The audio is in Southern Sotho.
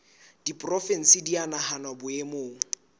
diporofensi di a nahanwa boemong